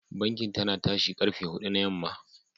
Bankin tana tashi karfe hudu na yamma.